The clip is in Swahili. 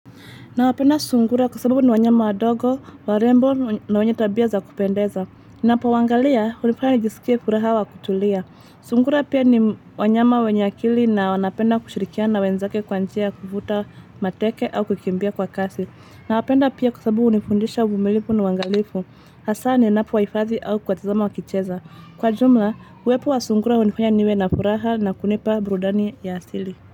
Nawapenda sungura kwa sababu ni wanyama wadogo, warembo na wenye tabia za kupendeza. Ninapowaangalia, hunifanya nijisikie furaha wa kutulia. Sungura pia ni wanyama wenye akili na wanapenda kushirikiana wenzake kwa njia kuvuta mateke au kukimbia kwa kasi. Nawapenda pia kwa sababu hunifundisha uvumilifu na uangalifu. Hasa ninapowahifadhi au kuwatazama wakicheza. Kwa jumla, uwepo wa sungura hunifanya niwe na furaha na kunipa burudani ya asili.